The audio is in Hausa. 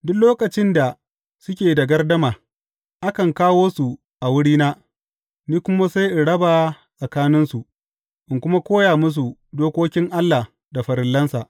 Duk lokacin da suke da gardama, akan kawo su a wurina, ni kuma sai in raba tsakaninsu, in kuma koya musu dokokin Allah da farillansa.